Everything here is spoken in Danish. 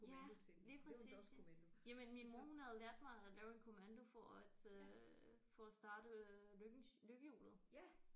Ja lige præcis jamen min mor hun havde lært mig at lave en kommando for at øh for at starte øh lykkens lykkehjulet